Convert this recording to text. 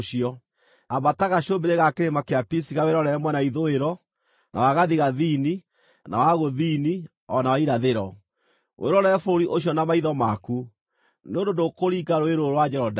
Ambata gacũmbĩrĩ ga kĩrĩma kĩa Pisiga wĩrorere mwena wa ithũĩro, na wa gathigathini, na wa gũthini, o na wa irathĩro. Wĩrorere bũrũri ũcio na maitho maku, nĩ ũndũ ndũkũringa rũũĩ rũrũ rwa Jorodani.